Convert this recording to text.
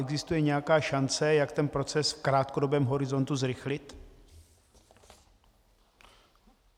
Existuje nějaká šance, jak ten proces v krátkodobém horizontu zrychlit?